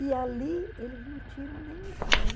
E ali eles não tiram nem um pau.